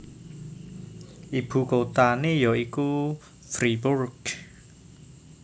Ibu kotané ya iku Fribourg